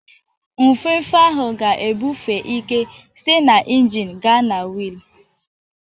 Nfefe ahụ ga-ebufe ike site na injin gaa na wiil.